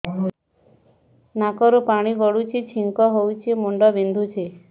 ନାକରୁ ପାଣି ଗଡୁଛି ଛିଙ୍କ ହଉଚି ମୁଣ୍ଡ ବିନ୍ଧୁଛି